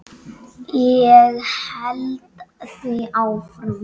Ég held því áfram.